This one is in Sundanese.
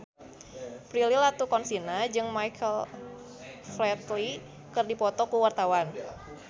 Prilly Latuconsina jeung Michael Flatley keur dipoto ku wartawan